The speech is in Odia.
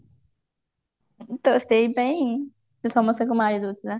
ତ ସେଇପାଇଁ ସେ ସମସ୍ତଙ୍କୁ ମାରିଦଉଥିଲା